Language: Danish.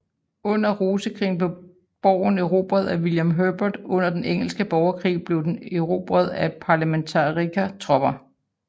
Under rosekrigene blev borgen erobret af William Herbert og under den engelske borgerkrig blev den erobret af parlementarikertropper